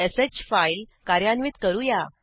redirectश file कार्यान्वित करूया